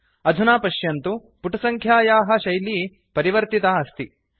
अधुना पश्यन्तु पुटसङ्ख्यायाः शैली परिवर्तिता अस्ति